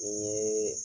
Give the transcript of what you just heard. N ye